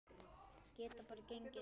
Geta bara gengið.